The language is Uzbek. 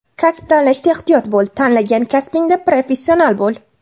Kasb tanlashda ehtiyot bo‘l, tanlagan kasbingda professional bo‘l.